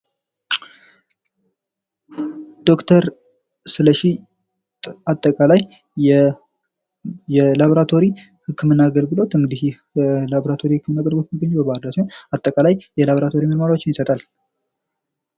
ዶክተር ስለሽ አጠቃላይ የላብራቶሪ ህክምና አገልግሎት ይህ የህክምና አገልግሎት በባህርዳር ከተማ ዉስጥ የሚገኝ ሲሆን አጠቃላይ የላብራቶሪ ምርመራዎችን ይሰጣል።